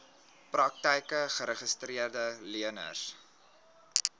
praktyke geregistreede leners